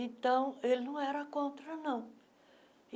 Então, ele não era contra, não.